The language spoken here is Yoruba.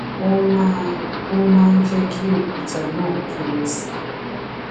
ó máa ń máa ń jẹ́ kí òkúta náà kéré sí i